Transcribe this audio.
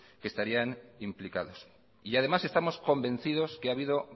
que estarían implicados y además estamos convencidos que ha habido